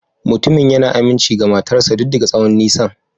Mutumin yana aminci ga matar sa duk da tsawon nisan.